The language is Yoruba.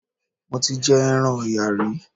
Mo ti jẹ ẹran Ọ̀yà rí.